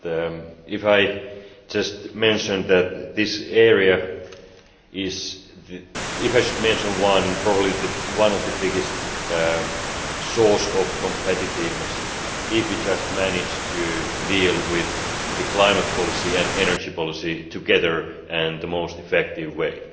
But, if I just mention that this area is, if I should mention one, probably one of the biggest source of competitiveness if we just manage to deal with climate policy and energy policy together and the most effective way.